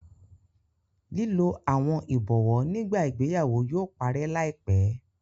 Lilo awọn ibọwọ nigba ìgbéyàwó yóò parẹ laipẹ